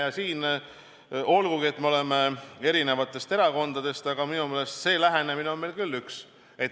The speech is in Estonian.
Ja siin, olgugi et me oleme eri erakondadest, on see lähenemine meil minu meelest küll üks.